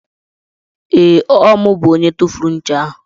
Ee, Ọ mụ bụ onye tufuru ncha ahụ.